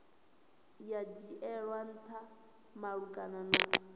ya dzhielwa ntha malugana na